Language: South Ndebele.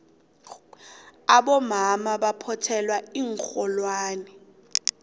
abomama baphothela iinxholwane